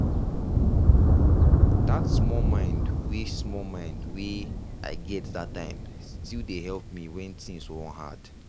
that small mind wey small mind wey i get that time still dey help when things wan hard.